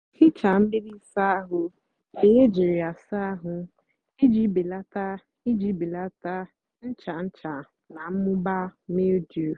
ghichaa mgbidi ịsá áhụ́ mgbe éjírí yá sáá àhú íjì belata íjì belata ncha ncha nà mmụba mildew.